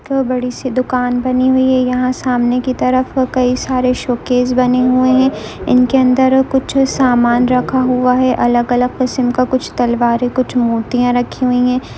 बड़ी सी दुकान बनी हुई है यहा सामने की तरफ काई सारे शोकेस बने हुए है इनके अंदर कुछ समान रखा हुआ है अलग- अलग किस्म का कुछ तलवारे कुछ मूर्तिया राखी हुई है।